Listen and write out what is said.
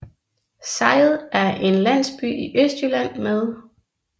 Sejet er en landsby i Østjylland med